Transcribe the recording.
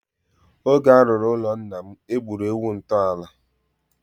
Oge a rụrụ ụlọ nna m, e gburu ewu ntọala.